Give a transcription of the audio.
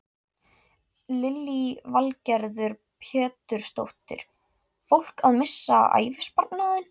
Lillý Valgerður Pétursdóttir: Fólk að missa ævisparnaðinn?